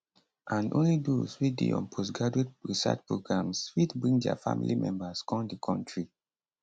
and only those wey dey on postgraduate research programmes fit bring dia family members come di kontri